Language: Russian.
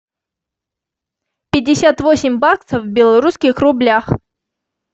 пятьдесят восемь баксов в белорусских рублях